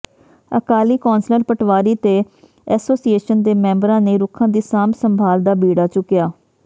Akali councillor ਪਟਵਾਰੀ ਤੇ association ਦੇ ਮੈਂਬਰਾਂ ਨੇ ਰੁੱਖਾਂ ਦੀ ਸਾਂਭ ਸੰਭਾਲ ਦਾ ਬੀੜਾ ਚੁੱਕਿਆ